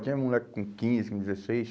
Tinha moleque com quinze, com dezesseis.